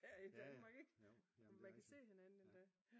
Her i Danmark ik man kan se hinanden endda